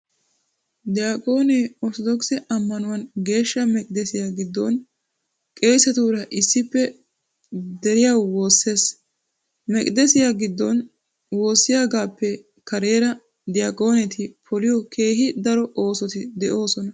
Diyaqoonee orttodokise ammanuwan geeshsha meqidesiyaa giddon qeesetuura issippe deriyawu woossees. Meqidesiyaa giddon woossiyogaappe kareera diyaqooneti poliyo keehi daro oosoti de"oosona.